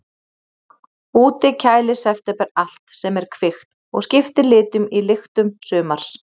Úti kælir september allt sem er kvikt og skiptir litum í lyktum sumars.